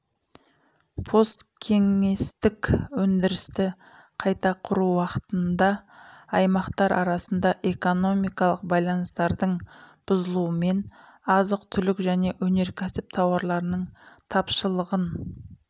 посткеңестік өндірісті қайта құру уақытында аймақтар арасында экономикалық байланыстардың бұзылуымен азық түлік және өнеркәсіп тауарларының тапшылығын